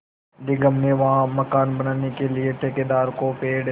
निगम ने वहाँ मकान बनाने के लिए ठेकेदार को पेड़